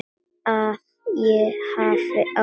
Að ég hafi átt.?